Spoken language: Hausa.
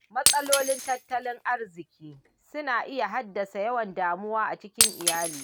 Matsalolin tattalin arziƙi suna iya haddasa yawan damuwa a cikin iyali.